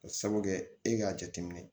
Ka sabu kɛ e k'a jateminɛ